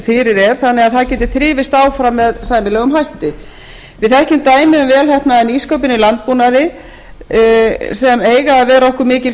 fyrir er þannig að það geti þrifist áfram með sæmilegum hætti við þekkjum dæmi um vel heppnaða nýsköpun í landbúnaði sem eiga að vera okkur mikil